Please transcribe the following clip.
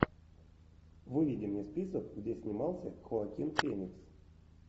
выведи мне список где снимался хоакин феникс